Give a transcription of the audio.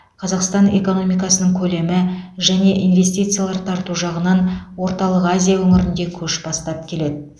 қазақстан экономиканың көлемі және инвестициялар тарту жағынан орталық азия өңірінде көш бастап келеді